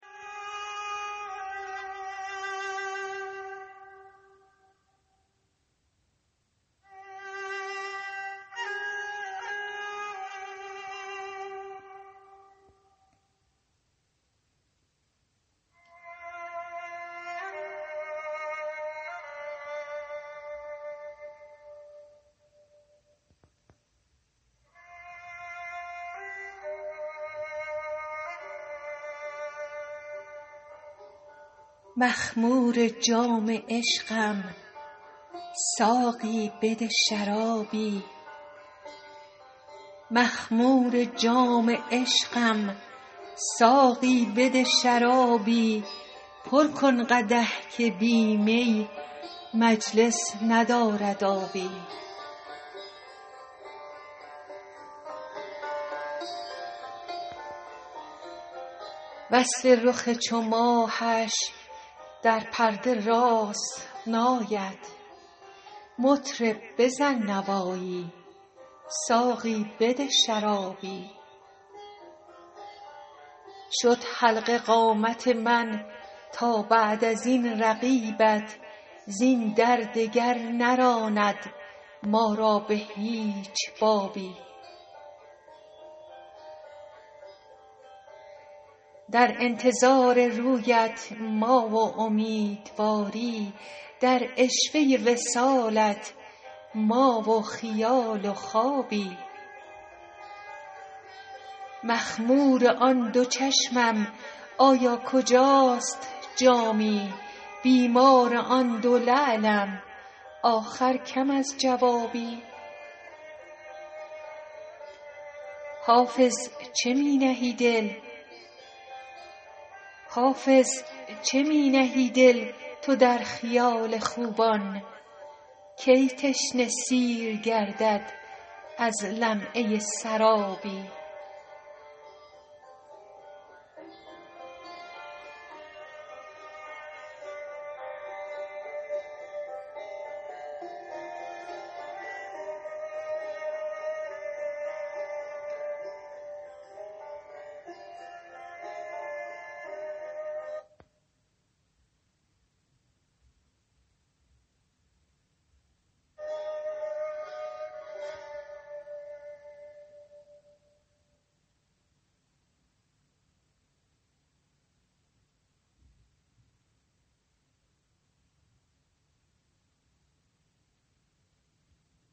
مخمور جام عشقم ساقی بده شرابی پر کن قدح که بی می مجلس ندارد آبی وصف رخ چو ماهش در پرده راست نآید مطرب بزن نوایی ساقی بده شرابی شد حلقه قامت من تا بعد از این رقیبت زین در دگر نراند ما را به هیچ بابی در انتظار رویت ما و امیدواری در عشوه وصالت ما و خیال و خوابی مخمور آن دو چشمم آیا کجاست جامی بیمار آن دو لعلم آخر کم از جوابی حافظ چه می نهی دل تو در خیال خوبان کی تشنه سیر گردد از لمعه سرابی